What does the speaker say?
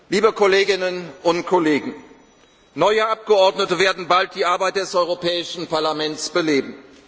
gewonnen. Liebe Kolleginnen und Kollegen, neue Abgeordnete werden bald die Arbeit des Europäischen Parlaments